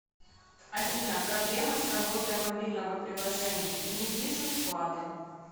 афина проблемы с работой мобильного приложения не вижу вклады